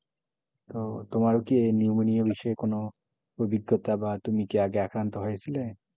ওহ তোমারও কি নিউমোনিয়া বিষয়ে কোনো অভিজ্ঞতা বা তুমি কি আগে আক্রান্ত হয়েছিলে।